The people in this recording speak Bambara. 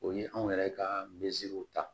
O ye anw yɛrɛ ka ta